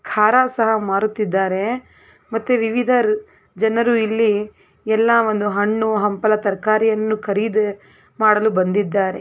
ಖಾರ ಸಹ ಮಾರುತ್ತಿದ್ದಾರೆ ಮತ್ತೆ ವಿವಿಧ ಜನರು ಇಲ್ಲಿ ಎಲ್ಲ ಒಂದು ಹಣ್ಣು ಹಂಪಲ ತರಕರಿ ಕರೀದ್ ಮಾಡಲು ಬಂದಿದಾರೆ.